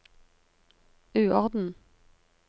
uorden